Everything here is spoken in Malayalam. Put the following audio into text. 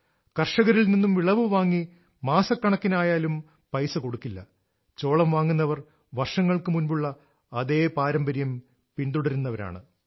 കർഷകരിൽ നിന്നും വിളവ് വാങ്ങി മാസക്കണക്കിനായാലും പൈസ കൊടുക്കില്ല ചോളം വാങ്ങുന്നവർ വർഷങ്ങൾക്ക് മുൻപുള്ള അതേ പാരമ്പര്യം പിൻതുടരുന്നവരാണ്